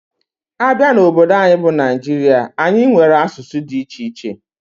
Abia n'obodo anyi bu Nigeria, anyi nwere asụsụ dị iche iche.